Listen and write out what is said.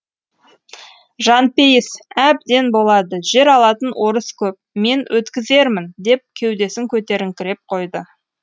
жанпейіс әбден болады жер алатын орыс көп мен өткізермін деп кеудесін көтеріңкіреп қойды